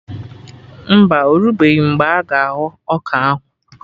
Mba, orubeghi mgbe a ga-aghọ ọka ahụ